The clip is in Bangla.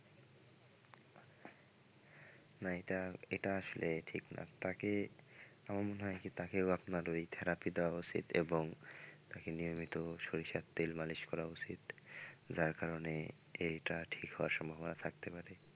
না এটা এটা আসলে ঠিক না তাকে আমার মনে হয় কি তাকেও আপনার ওই therapy দেওয়া উচিত এবং তাকে নিয়মিত সরিষার তেল মালিশ করা উচিত যার কারনে এইটা ঠিক হওয়ার সম্ভাবনা থাকতে পারে।